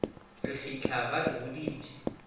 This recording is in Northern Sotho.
re fitlha ba re boditše